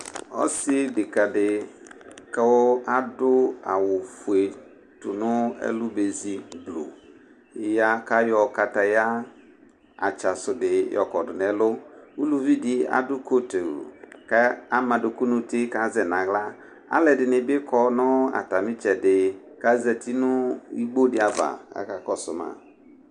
ɔsi deka di ku adu awu fue tu nu ɛlu be si gblo ya ku ayɔ kataya atsasu di yɔkɔdu nu ɛlu, uluvi di adu kotu ku ama aduku nu uti ku azɛ nu aɣla, alu ɛdini bi kɔ nu ata mi itsɛdi kazati nu ilitsɛ di nu igbo di ava kaka kɔsu ma